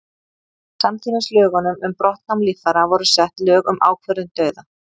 samtímis lögunum um brottnám líffæra voru sett lög um ákvörðun dauða